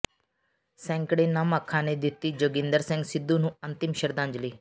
ਸੈਂਕੜੇ ਨਮ ਅੱਖਾਂ ਨੇ ਦਿੱਤੀ ਜੋਗਿੰਦਰ ਸਿੰਘ ਸਿੱਧੂ ਨੂੰ ਅੰਤਿਮ ਸ਼ਰਧਾਂਜਲੀ